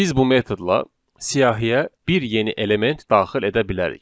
Biz bu metodla siyahiyə bir yeni element daxil edə bilərik.